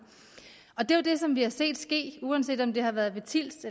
det er jo det som vi har set ske uanset om det har været ved tilst